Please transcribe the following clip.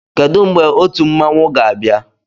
Kedụ mgbe otu mmanwụ ga-abịa?